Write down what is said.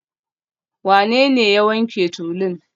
Wanene ya wanke tulun?